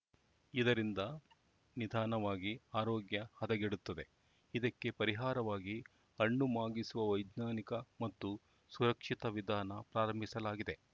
ಇದರಿಂದ ನಿಧಾನವಾಗಿ ಆರೋಗ್ಯ ಹದಗೆಡುತ್ತದೆ ಇದಕ್ಕೆ ಪರಿಹಾರವಾಗಿ ಹಣ್ಣು ಮಾಗಿಸುವ ವೈಜ್ಞಾನಿಕ ಮತ್ತು ಸುರಕ್ಷಿತ ವಿಧಾನ ಪ್ರಾರಂಭಿಸಲಾಗಿದೆ